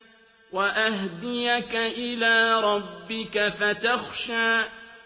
وَأَهْدِيَكَ إِلَىٰ رَبِّكَ فَتَخْشَىٰ